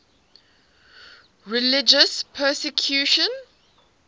religious persecution